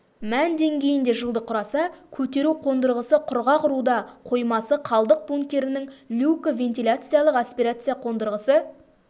мән деңгейінде жылды құраса көтеру қондырғысы құрғақ руда қоймасы қалдық бункерінің люкі вентиляциялық аспирация қондырғысы